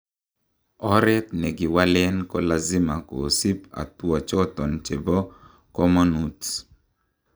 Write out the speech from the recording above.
Oret negiwalen kolazima kisip hatua choton chebo komonut.